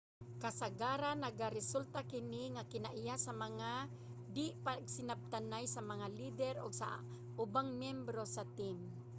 kasagaran nagaresulta kini nga kinaiya sa mga di-pagsinabtanay sa mga leader ug sa ubang miyembro sa team